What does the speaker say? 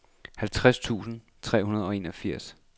halvtreds tusind tre hundrede og enogfirs